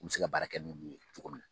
N bɛ se ka baara kɛ ninnu ye cogo min.